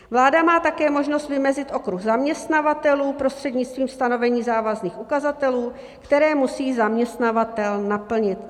Vláda má také možnost vymezit okruh zaměstnavatelů prostřednictvím stanovení závazných ukazatelů, které musí zaměstnavatel naplnit.